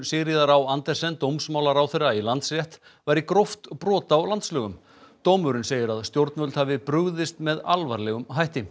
Sigríðar á Andersen dómsmálaráðherra í Landsrétt væri gróft brot á landslögum dómurinn segir stjórnvöld hafa brugðist með alvarlegum hætti